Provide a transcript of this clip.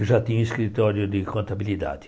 Eu já tinha um escritório de contabilidade.